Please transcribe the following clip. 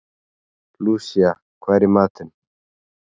Lúsía, hvað er í matinn?